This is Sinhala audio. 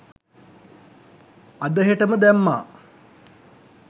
අද හෙටම දැම්මා